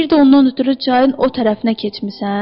Bir də ondan ötrü çayın o tərəfinə keçmisən?